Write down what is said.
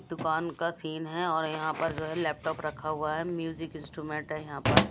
दुकान का सीन है और यहां पर जो है लैपटॉप रखा हुआ है म्यूजिक इंस्ट्रूमेंट है यहां पर--